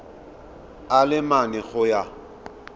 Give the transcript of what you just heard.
a le mane go ya